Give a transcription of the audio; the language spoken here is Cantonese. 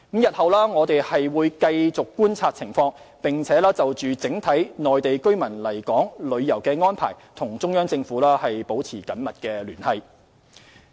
日後，我們會繼續觀察情況，並就整體內地居民來港旅遊的安排與中央政府保持緊密聯繫。